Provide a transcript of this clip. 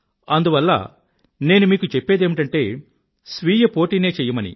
అందువల్ల నేను మీకు చెప్పేదేమిటంటే స్వీయపోటీ నే చెయ్యమని